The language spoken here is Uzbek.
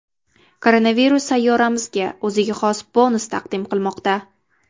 Koronavirus sayyoramizga o‘ziga xos bonus taqdim qilmoqda.